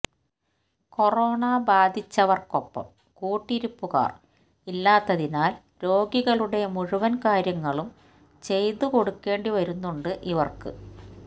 corona ബാധിച്ചവര്ക്കൊപ്പം കൂട്ടിരിപ്പുകാര് ഇല്ലാത്തതിനാല് രോഗികളുടെ മുഴുവന് കാര്യങ്ങളും ചെയ്തുകൊടുക്കേണ്ടി വരുന്നുണ്ട് ഇവര്ക്ക്